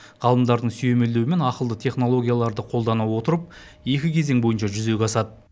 ғалымдардың сүйемелдеуімен ақылды технологияларды қолдана отырып екі кезең бойынша жүзеге асады